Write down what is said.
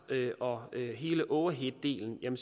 og hele overheaddelen er